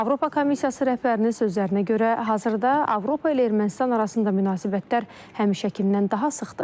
Avropa Komissiyası rəhbərinin sözlərinə görə, hazırda Avropa ilə Ermənistan arasında münasibətlər həmişəkindən daha sıxdır.